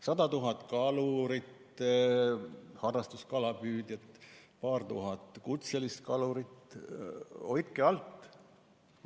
100 000 kalurit, harrastuskalapüüdjad ja paar tuhat kutselist kalurit, hoidke alt!